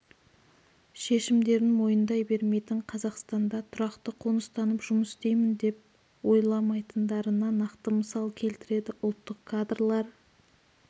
шешімдерін мойындай бермейтінін қазақстанда тұрақты қоныстанып жұмыс істеймін деп ойламайтындарына нақты мысалдар келтіреді ұлттық кадрлар